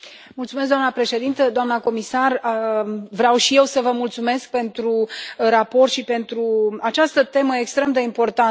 Doamnă președintă, doamnă comisar, vreau și eu să vă mulțumesc pentru raport și pentru această temă extrem de importantă.